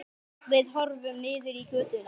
Við horfum niður í götuna.